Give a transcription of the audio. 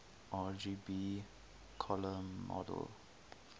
rgb color model